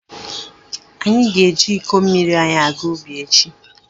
Anyị ga-eji iko mmiri anyị aga ubi echi.